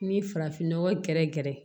Ni farafinnɔgɔ gɛrɛ gɛrɛ